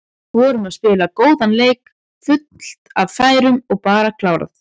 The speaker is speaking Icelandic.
Vorum að spila góðan leik, fullt af færum og bara klárað.